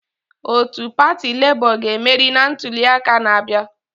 Otu pati Lebo ga-emeri na ntuliaka na-abịa.